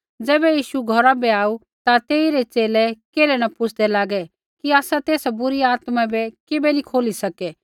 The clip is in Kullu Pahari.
ज़ैबै यीशु घौरा बै आऊ ता तेइरै च़ेले केल्है न पुछ़दै लागै कि आसै तेसा बुरी आत्मा बै किबै नी खोली सके